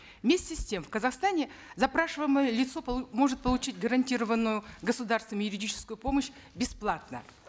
вместе с тем в казахстане запрашиваемое лицо может получить гарантированную государством юридическую помощь бесплатно